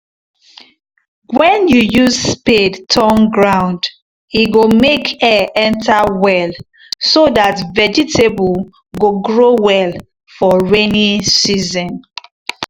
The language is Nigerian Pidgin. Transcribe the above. when you use spade turn ground e go make air enter well so that vegetable go grow well for rainy season